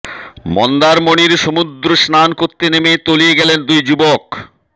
মন্দারমণির সমুদ্রে স্নান করতে নেমে তলিয়ে গেলেন দুই যুবক